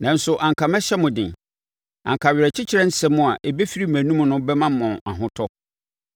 Nanso, anka mɛhyɛ mo den; anka awerɛkyekyerɛ nsɛm a ɛbɛfiri mʼanomu no bɛma mo ahotɔ.